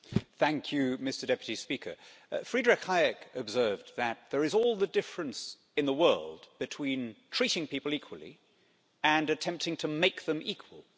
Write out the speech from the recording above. Thank you, Mr President, Friedrich Hayek observed that there is all the difference in the world between treating people equally and attempting to make them equal.